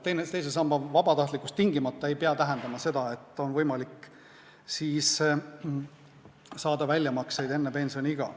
Teise samba vabatahtlikkus ei pea tingimata tähendama seda, et väljamakseid on võimalik teha enne pensioniiga.